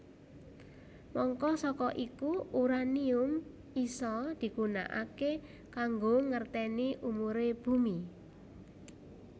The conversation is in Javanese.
Mangka saka iku uranium isa digunakaké kanggo ngerténi umuré bumi